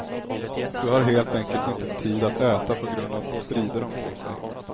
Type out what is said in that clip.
Du har helt enkelt inte tid att äta på grund av strider omkring dig.